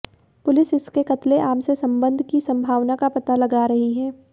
police इसके क़त्लेआम से संबंध की संभावना का पता लगा रही है